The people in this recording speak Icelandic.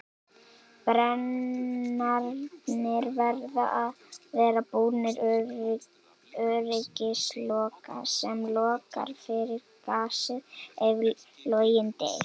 Brennararnir verða að vera búnir öryggisloka sem lokar fyrir gasið ef loginn deyr.